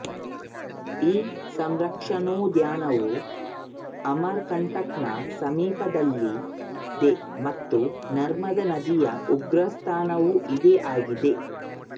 ಈ ಸಂರಕ್ಷಣೋದ್ಯಾನವು ಅಮರ್ ಕಂಟಕ್ ನ ಸಮೀಪದಲ್ಲಿದೆ ಮತ್ತು ನರ್ಮದಾ ನದಿಯ ಉಗಮಸ್ಥಾನವೂ ಇದೇ ಆಗಿದೆ